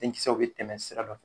Denkisɛw bɛ tɛmɛ sira kan